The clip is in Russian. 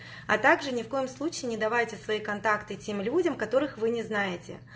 а также ни в коем случае не давайте свои контакты тем людям которых вы не знаете